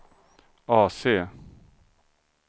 AC